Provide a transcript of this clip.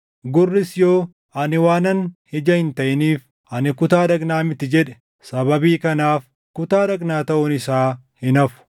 Gurris yoo, “Ani waanan ija hin taʼiniif, ani kutaa dhagnaa miti” jedhe, sababii kanaaf kutaa dhagnaa taʼuun isaa hin hafu.